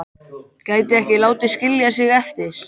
Gæti ekki látið skilja sig eftir.